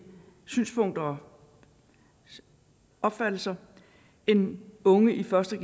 synspunkter og opfattelser end unge i første